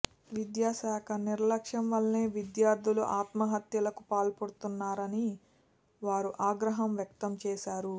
విద్యాశాఖ నిర్లక్ష్యం వల్లే విద్యార్ధులు ఆత్మహత్యలకు పాల్పడుతున్నారని వారు ఆగ్రహం వ్యక్తం చేశారు